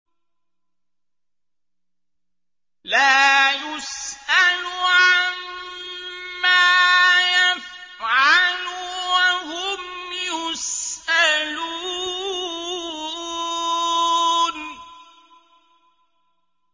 لَا يُسْأَلُ عَمَّا يَفْعَلُ وَهُمْ يُسْأَلُونَ